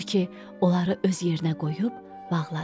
Odur ki, onları öz yerinə qoyub bağladı.